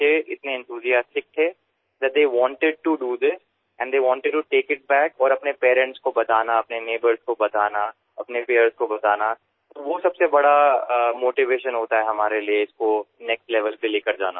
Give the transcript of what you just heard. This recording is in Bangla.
স্যার কারণশিশুরা এটি করতে চেয়েছিল তারা এত উত্সাহী ছিল যে এটিকে বাড়ি গিয়ে নিজেদের মা বাবাকে বিস্তারিত জানাতে প্রতিবেশীদের জানাতে তাদের সমবয়সীদের জানাতে যে এটাই সবচেয়ে বড় অনুপ্রেরণা আমাদের পরবর্তী স্তরে উত্তরণের ক্ষেত্রে